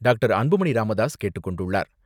Doctor. Anbumani Ramadoss கேட்டுக்கொண்டுள்ளார்.